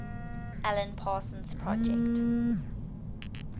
alan parsons project